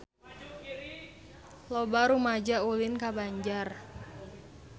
Loba rumaja ulin ka Banjar